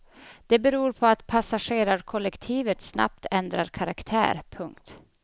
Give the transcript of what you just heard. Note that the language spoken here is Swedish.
Det beror på att passagerarkollektivet snabbt ändrar karaktär. punkt